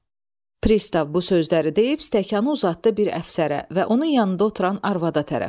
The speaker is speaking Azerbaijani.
Pristav bu sözləri deyib stəkanı uzatdı bir əfsərə və onun yanında oturan arvada tərəf.